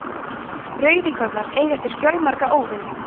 rauðíkornar eiga sér fjölmarga óvini